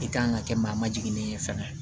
I kan ka kɛ maa ma jiginnen ye fɛnɛ